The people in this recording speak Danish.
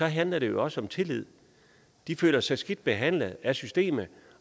handler det jo også om tillid de føler sig skidt behandlet af systemet